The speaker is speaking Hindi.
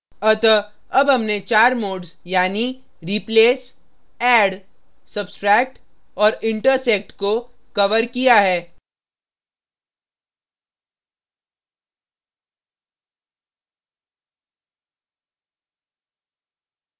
अतः add हमने चार modes यानी replace add सब्स्ट्रैक्ट और intersect को कवर किया है